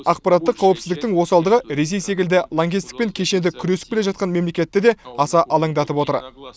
ақпараттық қауіпсіздіктің осалдығы ресей секілді лаңкестікпен кешенді күресіп келе жатқан мемлекетті де аса алаңдатып отыр